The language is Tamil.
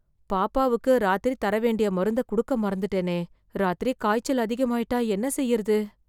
பாப்பாவுக்கு ராத்திரி தர வேண்டிய மருந்த, குடுக்க மறந்துட்டேனே... ராத்திரி காய்ச்சல் அதிகமாயிட்டா என்ன செய்றது...